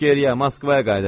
Geriyə, Moskvaya qayıdırıq.